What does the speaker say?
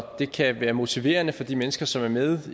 det kan være motiverende for de mennesker som er med